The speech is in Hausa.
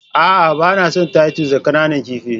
A'a, ba na son titus da ƙananan kifi.